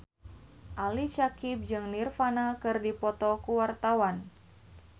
Ali Syakieb jeung Nirvana keur dipoto ku wartawan